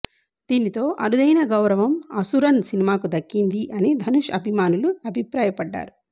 దీనితో అరుదైన గౌరవం అసురన్ సినిమాకు దక్కింది అని ధనుష్ అభిమానులు అభిప్రాయపడ్డారు